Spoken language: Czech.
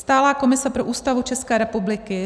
"Stálá komise pro Ústavu České republiky